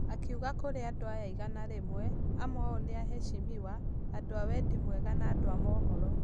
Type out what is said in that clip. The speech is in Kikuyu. Akiuga Kũri andũ aya igana rimwe , amwe ao ni aheshimiwa , andũ a wendi mwega na andũ a mohoro